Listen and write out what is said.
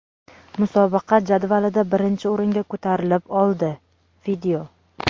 musobaqa jadvalida birinchi o‘ringa ko‘tarilib oldi.